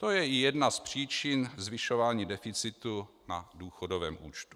To je i jedna z příčin zvyšování deficitu na důchodovém účtu.